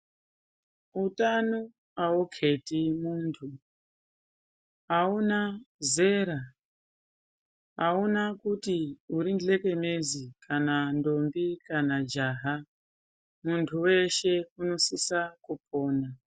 Utano auketi mu tu auna zera auna kuti uri nhlengenezi kana ndombi kana jaha muntu weshe unosisa kupona.